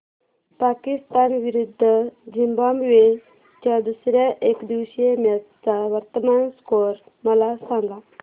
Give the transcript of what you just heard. पाकिस्तान विरुद्ध झिम्बाब्वे च्या दुसर्या एकदिवसीय मॅच चा वर्तमान स्कोर मला सांगा